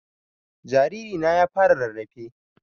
Jariri na ya fara rarrafe